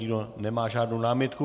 Nikdo nemá žádnou námitku.